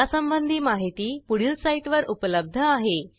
यासंबंधी माहिती पुढील साईटवर उपलब्ध आहे